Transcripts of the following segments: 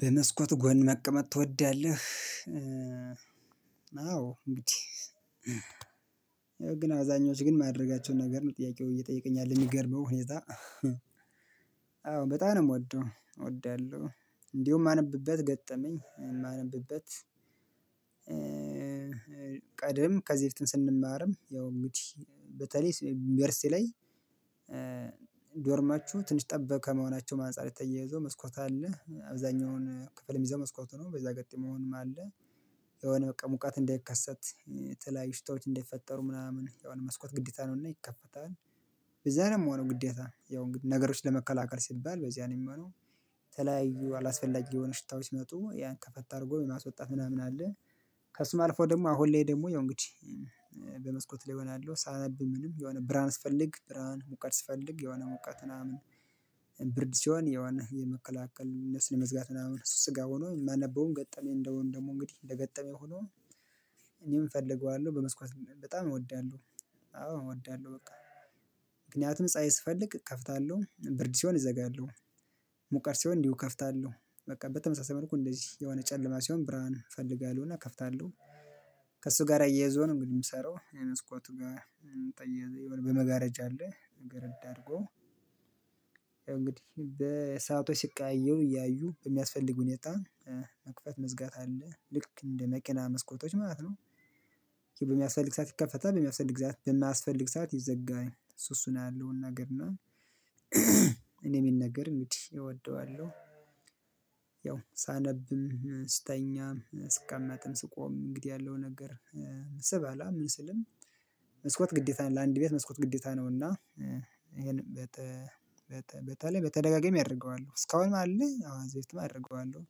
በመስኮት ጎን መቀመጥ ትወዳለህ? አዎ እንግዲህ ግን አዛኞች ግን ማድረጋቸውን ነገር ጥያቄው እየጠየቀኝ ያለ የሚገርመው ሁኔታ። አዎ በጣም ነው የምወደው እወዳለሁ እንዲሁ የማነብበት ገጠመኝ የማነብበት። ቀደም ከዚህ በፊትም ስንማርም ያው እንግዲህ በተለይ ዩኒቨርሲቲ ላይ። ዶርማችሁ ትንሽ ጠበብ ከመሆናቸውም ማንፃር የተያያዘ መስኮት አለ አብዛኛውን ክፍል የሚዘው መስኮቱ ነው በዛ አጋጣሚ መሆንም አለ። የሆነ በቃ ሙቃት እንደይከሰት የተላያዩ ሽታዎች እንዳይፈጠሩ ምናምን የሆነ መስኮት ግዴታ ነውና ይከፈታል። በዛ ነው የምሆነው ግዴታ ያው ነገሮች ለመከላከል ሲባል በዚያ ነው የሚሆነው። የተለያዩ አላስፈላጊ የሆነ ሽታዎች ሲመጡ ያን ከፈት አርጎ የማስወጣት ምናምን አለ። ከሱም አልፎ ደግሞ አሁን ላይ ደግሞ ያው እንግዲህ በመስኮት ላይ እበላለሁ ሳነብ ምንም የሆነ ብርሃን ስፈልግ ብርሃን ሙቀት ስፈልግ የሆነ ሙቀት ምናምን። ብርድ ሲሆን የሆነ የመከላከል እነሱን የመዝጋት ምናምን እሱ እሱስጋ ሆኖ የማነበውም ገጠመኝ እንደመሆን ደግሞ እንግዲህ እንደገጠመኝ ሆኖ። እኔም እፈልገዋለሁ በመስኮት በጣም እወዳለሁ። አዎ እወዳለሁ በቃ ምክንያቱም ፀሀይ ስፈልግ እከፍታለሁ ብርድ ሲሆን እዘጋለሁ። ሙቀት ሲሆን እንዲሁ እከፍታለሁ በቃ በተመሳሳይ መልኩ እንደዚህ የሆነ ጨለማ ሲሆን ብርሃን እፈልጋለሁ እና እከፍታለሁ። ከእሱ ጋር አያይዞ ነው እንግዲህ የምሰራው የመስኮቱ ጋር። ጠየዘ የሆነ በመጋረጃ አለ። አርጎ ያው እንግዲህ በሰአቶች ሲቀያየሩ እያዩ በሚያስፈልግ ሁኔታ። መክፈት መዝጋት አለ ልክ እንደ መኪና መስኮቶች ማለት ነው። በሚያስፈልግ ሰዓት ይከፈታል በሚያስፈልግ ሰዓት በማያስፈልግ ሰዓት ይዘጋል እሱ እሱ ነው ያለውን ነገር እና እኔ የምነግር እንግዲህ እወደዋለሁ። ያው ሳነብም ስተኛም ስቀመጥም ስቆምም እንግዲህ ያለው ነገር። ስበላ ምን ስልም። መስኮት ግዴታ ለአንድ ቤት መስኮት ግዴታ ነው። እና ይሄንም በተ በተለይ በተደጋጋሚ አደርገዋለሁ እስካሁንም አለ አዎ እዚህ በፊትም አደርገዋለሁ።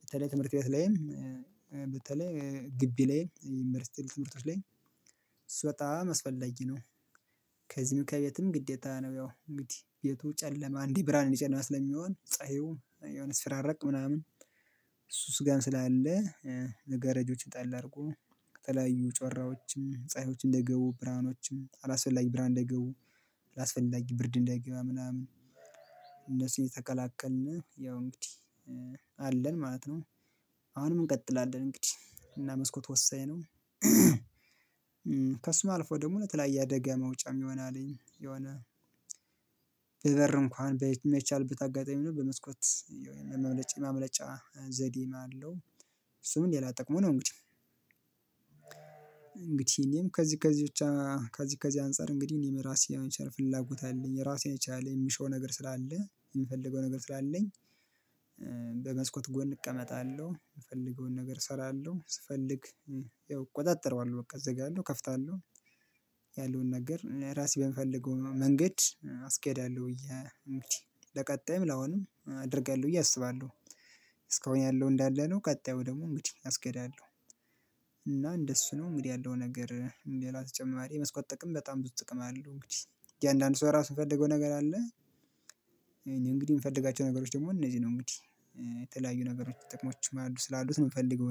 በተለይ ትምህርት ቤት ላይም በተለይ ግቢ ላይም ዩኒቨርሲቲ ትምህርቶች ላይም እሱ በጣም አስፈለጊ ነው። ከዚህም ከቤትም ግዴታ ነው ያው እንግዲህ ቤቱ ጨለማ እንዲህ ብርሃን እንዲህ ጨለማ ስለሚሆን ፀሀዩ የሆነ ሲፈራረቅ ምናምን። እሱስ ጋር ስላለ መጋረጆችን ጠላ አድርጎ ከተለያዩ ጮራዎችም ፀሀዮችን እንዳይገቡ ብርሃኖችም አላስፈላጊ ብርሃን እንዳይገቡ አላስፈላጊ ብርድ እንዳይገባ ምናምን እነሱን የተቀላቀልን ያው እንግዲህ አለን ማለት ነው። አሁንም እንቀጥላለን እንግዲህ እና መስኮት ወሳኝ ነው። አልፎ ደግሞ ለተለያየ አደጋ መውጫም ይሆናልኝ የሆነ። በበር እንኳን ማይቻልበት አጋጣሚ ቢኖር ነው በመስኮት መመለ የመመለጫ ዘዴም አለው። እሱም ሌላ ጠቅሙ ነው እንግዲህ። እንግዲህ እኔም ከዚህ ከዚህ ብቻ ከዚህ ከዚህ አንፃር እንግዲህ እኔም ራሴ የመቻል ፍላጎት አለኝ ራሴን የቻለ የሚሸው ነገር ስላለ የምፈልገው ነገር ስላለኝ። በመስኮት ጎን እቀመጣለሁ የፈለገውን ነገር እሰራለሁ ስፈልግ። ያው እቆጣጠረዋለሁ በቃ እዘጋለሁ እከፍታለሁ። ያለውን ነገር ራሴ በምፈልገው መንገድ አስኬዳለሁ ብዬ እንግዲህ ለቀጣይም ለአሁንም አድርጋለሁ ብዬ እያሰባለሁ። እስካሁን ያለው እንዳለ ነው ቀጣዩ ደግሞ እንግዲህ አስገዳለሁ። እና እንደሱ ነው እንግዲህ ያለው ነገር ሌላ ተጨማሪ የመስኮት ጥቅም በጣም ብዙ ጥቅም አለው እንግዲህ እያንዳንዱ ሰው ራሱ የፈለገው ነገር አለ። እንግዲህ የምፈልጋቸው ነገሮች ደግሞ እነዚህ ነው እንግዲህ። የተለያዩ ነገሮች ጥቅሞችም አሉ ስላሉት ነው የምፈልገው እኔ